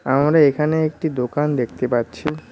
আমরা এখানে একটি দোকান দেখতে পাচ্ছি।